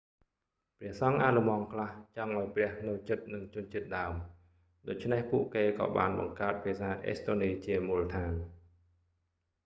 ព្រះសង្ឃអាល្លឺម៉ង់ខ្លះ ចង់ឱ្យព្រះនៅជិតនឹងជនជាតិដើម ដូច្នេះពួកគេក៏បានបង្កើតភាសាអេស្តូនីជាមូលដ្ឋាន